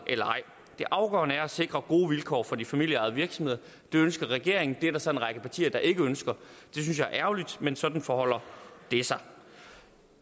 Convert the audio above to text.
eller ej det afgørende er at sikre gode vilkår for de familieejede virksomheder det ønsker regeringen det er der så en række partier der ikke ønsker det synes jeg er ærgerligt men sådan forholder det sig